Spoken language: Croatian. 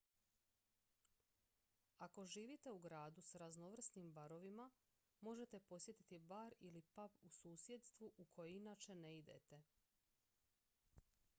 ako živite u gradu s raznovrsnim barovima možete posjetiti bar ili pub u susjedstvu u koje inače ne idete